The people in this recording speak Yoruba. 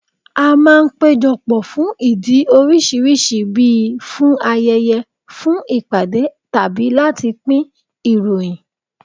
A máa ń péjọ pọ̀ fún ìdí oríṣiríṣi bí i, fún ayẹyẹ, fún ìpàdé tàbí láti pín ìròyìn